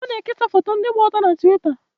Ọ na-ekesa foto ndị gba ọtọ na Twita?